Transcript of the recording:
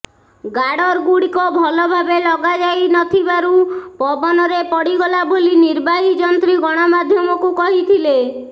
ଗାର୍ଡରଗୁଡିକ ଭଲ ଭାବେ ଲଗାଯାଇନଥିବାରୁ ପବନରେ ପଡିଗଲା ବୋଲି ନିର୍ବାହୀ ଯନ୍ତ୍ରୀ ଗଣମାଧ୍ୟମକୁ କହିଥିଲେ